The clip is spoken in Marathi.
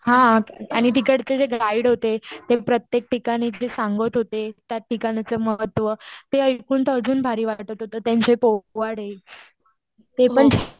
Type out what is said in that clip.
हा आणि तिकडचे जे गाईड होते ते प्रत्येक ठिकाणी जे सांगत होते. त्या ठिकाणाचं महत्व, ते ऐकून तर अजून भारी वाटत होतं. त्यांचे पोवाडे ,ते पण